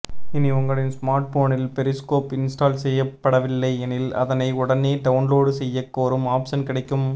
இனி உங்களின் ஸ்மார்ட்போனில் பெரிஸ்கோப் இன்ஸ்டால் செய்யப்படவில்லை எனில் அதனை உடனே டவுன்லோடு செய்யக் கோரும் ஆப்ஷன் கிடைக்கும்